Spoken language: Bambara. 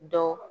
Dɔ